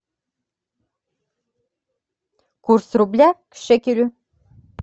курс рубля к шекелю